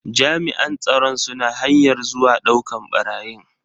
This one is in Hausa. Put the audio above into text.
Jami'an tsaron suna hanyar zuwa dauka barayin.